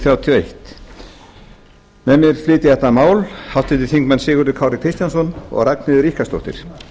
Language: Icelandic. og eitt með mér flytja þetta mál háttvirtur þingmaður sigurður kári kristjánsson og ragnheiður ríkharðsdóttir